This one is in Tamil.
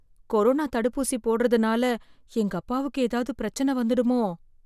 கொரோனா தடுப்பூசி போடுறதுனால எங்க அப்பாவுக்கு ஏதாவது பிரச்சினை வந்திடுமோ